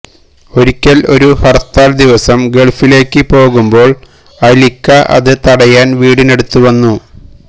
ഒരിക്കൽ ഒരു ഹർത്താൽ ദിവസം ഗൾഫിലേക്ക് പോകുമ്പോൾ അലിക്ക അത് തടയാൻ വീടിന്നടുത്ത് വന്നു